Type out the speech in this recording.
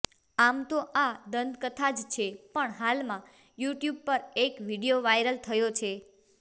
આમ તો આ દંતકથા જ છે પણ હાલમાં યુટ્યુબ પર એક વીડિયો વાયરલ થયો છે